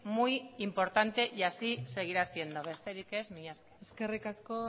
muy importante y así seguirá siendo besterik ez mila esker eskerrik asko